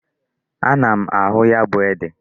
Ana m ahụ ya bụ ede.